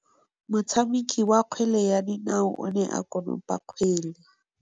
Motshameki wa kgwele ya dinaô o ne a konopa kgwele.